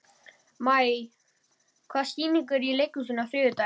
Maj, hvaða sýningar eru í leikhúsinu á þriðjudaginn?